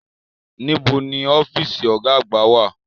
Níbo ni ọ́fíìsì Ọ̀gá àgbà wà?